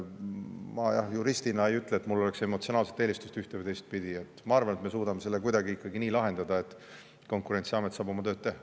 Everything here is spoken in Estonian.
Ma jah juristina ei ütle, et mul oleks emotsionaalset eelistust ühte- või teistpidi, vaid ma arvan, et me suudame selle kuidagi ikkagi nii lahendada, et Konkurentsiamet saab oma tööd teha.